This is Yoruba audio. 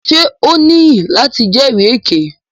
Ṣe o niyi lati jẹri èké?